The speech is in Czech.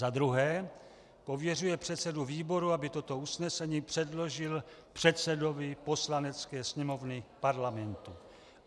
za druhé pověřuje předsedu výboru, aby toto usnesení předložil předsedovi Poslanecké sněmovny Parlamentu;